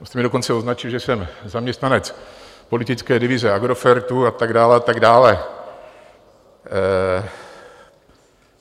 Vy jste mě dokonce označil, že jsem zaměstnanec politické divize Agrofertu, a tak dále a tak dále.